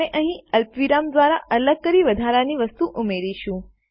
આપણે અહીં અલ્પવિરામ દ્વારા અલગ કરી વધારાની વસ્તુ ઉમેરીશું